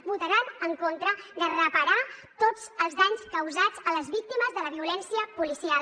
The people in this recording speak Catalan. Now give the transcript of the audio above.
votaran en contra de reparar tots els danys causats a les víctimes de la violència policial